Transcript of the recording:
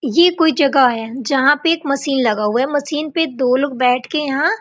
ये कोई जगह है जहाँ पे एक मशीन लगा हुआ है मशीन पे पर दो लोग बैठ के यहाॅं --